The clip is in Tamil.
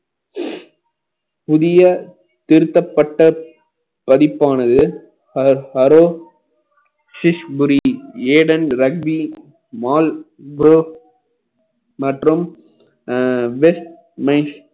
புதிய திருத்தப்பட்ட பதிப்பானது ஹரஹரோ சிஷ்புரி ரக்வி மால் pro மற்றும் அஹ் west